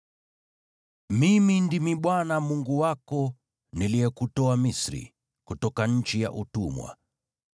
“Mimi ndimi Bwana Mungu wako, niliyekutoa Misri, kutoka nchi ya utumwa.